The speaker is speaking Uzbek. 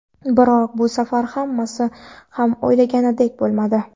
Biroq bu safar hammasi ham o‘ylanganidek bo‘lmadi.